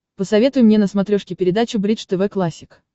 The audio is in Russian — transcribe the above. посоветуй мне на смотрешке передачу бридж тв классик